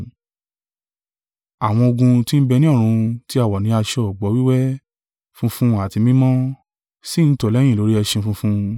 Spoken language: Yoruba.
Àwọn ogun tí ń bẹ ní ọ̀run tí a wọ̀ ní aṣọ ọ̀gbọ̀ wíwẹ́, funfun àti mímọ́, sì ń tọ̀ ọ́ lẹ́yìn lórí ẹṣin funfun.